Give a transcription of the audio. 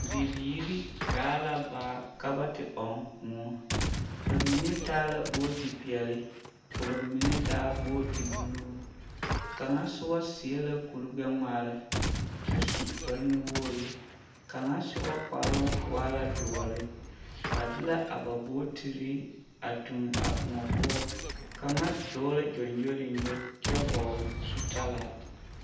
Bibiiri gaa la baa ka ba te ɔŋ kõɔ, bamine taa la booti peɛle ka bamine taa booti buluu, kaŋa soba seɛ la kuri gbɛ-ŋmaara kyɛ su kpare nu-wogiri, kaŋa soba kparoŋ waa la doɔre, ba de la a ba bootiri a toŋ a kõɔ poɔ, kaŋa dɔɔ la gyɔŋgyoliŋgyo kyɛ hɔɔle zutalaa.